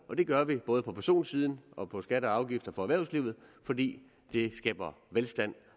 og det gør vi både på personsiden og på skatteafgifter for erhvervslivet fordi det skaber velstand